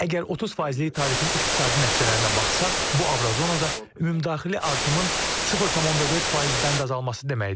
Əgər 30 faizli tarifin iqtisadi nəticələrinə baxsaq, bu Avrozonada ümumdaxili artımın 0.4 faiz bənd azalması deməkdir.